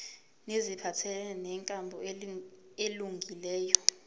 neziphathelene nenkambo elungileyo